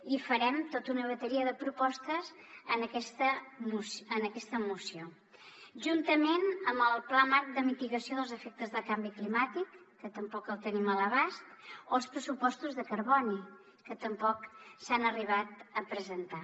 i farem tota una bateria de propostes en aquesta moció juntament amb el pla marc de mitigació dels efectes del canvi climàtic que tampoc el tenim a l’abast o els pressupostos de carboni que tampoc s’han arribat a presentar